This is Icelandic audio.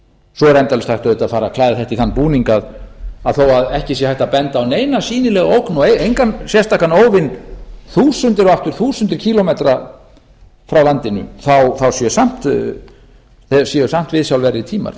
svo er endalaust hægt auðvitað að fara að klæða þetta í þann búning að þó að ekki sé hægt að benda á neina sýnilega ógn og engan sérstakan óvin þúsundir og aftur þúsundir kílómetra frá landinu þá séu samt viðsjárverðir tímar